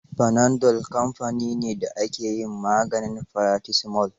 Panadol kamfani ne da ke yin maganin paracetamol.